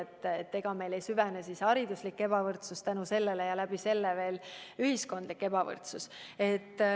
On küsimus, et ega meil ei süvene hariduslik ebavõrdsus selle tõttu ja selle kaudu ka ühiskondlik ebavõrdsus.